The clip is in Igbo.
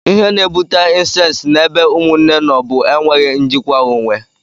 Ihe na-ebute incesti na ebe Ụmụnne nọ bụ enweghị njikwa onwe.